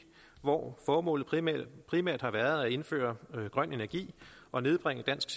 hvor formålet primært primært har været at indføre grøn energi og nedbringe dansk